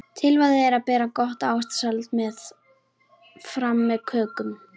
Tilvalið er að bera gott ávaxtasalat fram með kökunum.